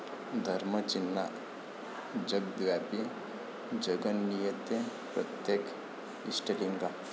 धर्म चिन्हाः जगद्व्यापी, जगन्नियंते प्रत्येक 'इष्टलिंगा'